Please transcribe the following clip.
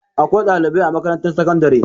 Akwai ɗalibai a makarantar sakandare.